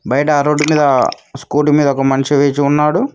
బయట రోడ్డు మీద స్కూటీ మీద ఒక మనిషి వేసి ఉన్నాడు.